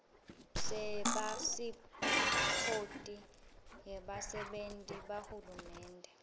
sepasiphothi yebasebenti bahulumende